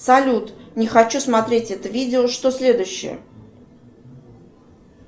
салют не хочу смотреть это видео что следующее